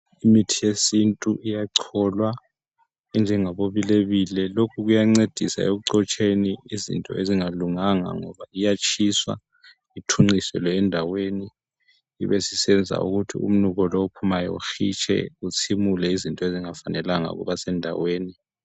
imithi yesintu iyacholwa enjengabo bilebile ,lokhu kuya ncedisa ekuxotsheni izinto ezongalunganga ngoba iyatshiswa ithunqiselwe endaweni ibisisenza ukuthi umnuko lo ophumayo uhitshe kutsimule izinto ezingafalanga ukuba sendaweni